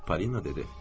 Polina dedi.